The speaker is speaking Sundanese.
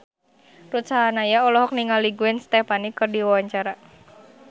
Ruth Sahanaya olohok ningali Gwen Stefani keur diwawancara